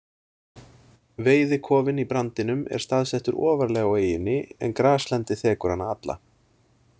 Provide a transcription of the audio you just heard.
Veiðikofinn í Brandinum er staðsettur ofarlega á eyjunni en graslendi þekur hana alla.